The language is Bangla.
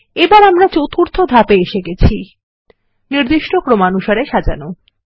এখন আমরা চতুর্থ ধাপ এ এসে গেছি নির্দিষ্টক্রমানুসারে সাজানো